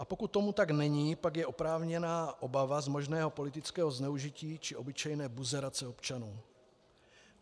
A pokud tomu tak není, pak je oprávněná obava z možného politického zneužití či obyčejné buzerace občanů.